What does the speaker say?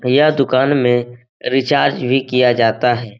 यह दुकान में रिचार्ज भी किया जाता है।